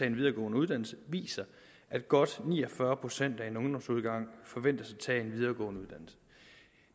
en videregående uddannelse viser at godt ni og fyrre procent af en ungdomsårgang forventes at tage en videregående uddannelse